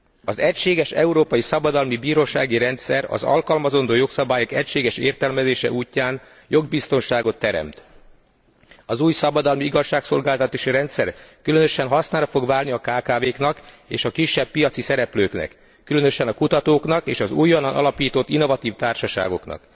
Az egységes európai szabadalmi bírósági rendszer az alkalmazandó jogszabályok egységes értelmezése útján jogbiztonságot teremt. Az új szabadalmi igazságszolgáltatási rendszer különösen hasznára fog válni a kkv knak és a kisebb piaci szereplőknek, különösen a kutatóknak és az újonnan alapított innovatív társaságoknak.